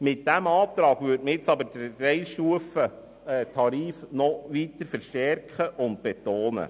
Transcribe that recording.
Mit diesem Antrag würde man den Dreistufentarif noch weiter verstärken und betonen.